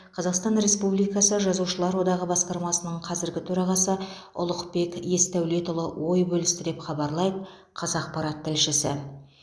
қазақстан республикасы жазушылар одағы басқармасының қазіргі төрағасы ұлықбек есдәулетұлы ой бөлісті деп хабарлайды қазақпарат тілшісі